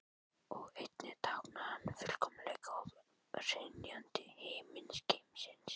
Og einnig táknar hann fullkomleika og hrynjandi himingeimsins.